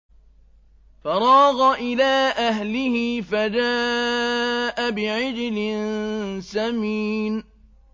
فَرَاغَ إِلَىٰ أَهْلِهِ فَجَاءَ بِعِجْلٍ سَمِينٍ